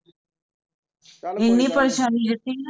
ਇੰਨੀ ਪਰੇਸ਼ਾਨੀ ਸਿੱਟੀ ਸੀ ਨਾ